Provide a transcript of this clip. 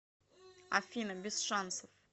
афина без шансов